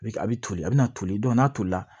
A bɛ toli a bɛ na toli n'a tolila